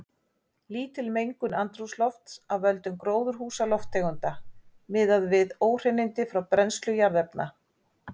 Lítil mengun andrúmslofts af völdum gróðurhúsalofttegunda miðað við óhreinindi frá brennslu jarðefna.